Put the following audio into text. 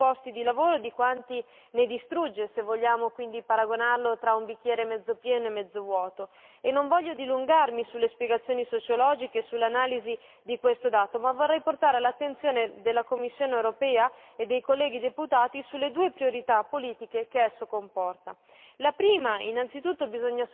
Il settore digitale crea molti più posti di lavoro di quanti ne distrugga se vogliamo quindi paragonarlo tra un bicchiere mezzo pieno o mezzo vuoto. Non intendo dilungarmi sulle spiegazioni sociologiche e sull'analisi di questo dato, vorrei però portare all'attenzione della Commissione europea e dei colleghi deputati sulle due priorità politiche che esso comporta.